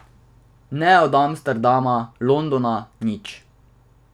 Ne od Amsterdama, Londona, nič.